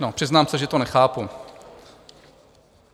No, přiznám se, že to nechápu.